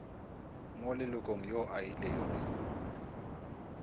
mo lelokong yo a ilego